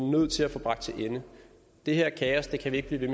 nødt til at få bragt til ende det her kaos kan vi ikke blive ved